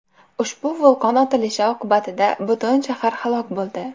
Ushbu vulqon otilishi oqibatida butun shahar halok bo‘ldi.